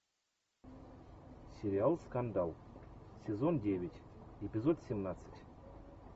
сериал скандал сезон девять эпизод семнадцать